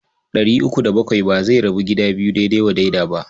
Ɗari uku da bakwai ba zai rabu gida biyu daidai wa daida ba.